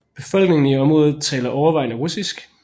Befolkningen i området taler overvejende russisk